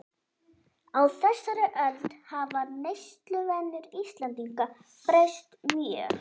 Á þessari öld hafa neysluvenjur Íslendinga breyst mjög.